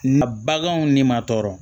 Na baganw ni maa tɔɔrɔ